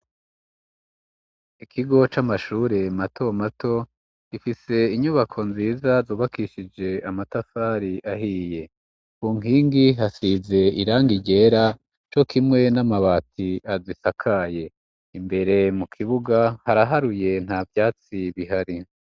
ikigo c'amashure mato mato gifise inyubako nziza zubakishije amatafari ahiye, ku nkingi hasize irangi ryera co kimwe n'amabati azisakaye imbere mu kibuga haraharuye nta vyatsi bihari.